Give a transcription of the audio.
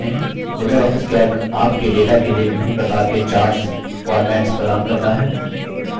Libre office calc आपके data के लिए विभिन्न प्रकार के chart formats प्रदान करता है